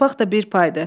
Torpaq da bir paydı.